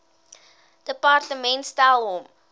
departement stel hom